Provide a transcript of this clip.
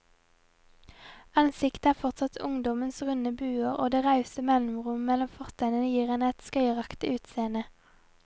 Ansiktet har fortsatt ungdommens runde buer, og det rause mellomrommet mellom fortennene gir henne et skøyeraktig utseende.